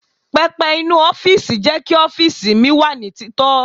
Pẹpẹ inú ọ́fíìsì jẹ́ kí ọ́fíìsì mi wà ní tito.